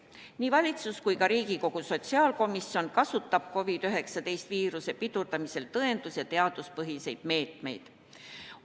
Nii valitsus kui ka Riigikogu sotsiaalkomisjon kasutab COVID-19 viiruse pidurdamisel tõendus- ja teaduspõhiseid meetmeid.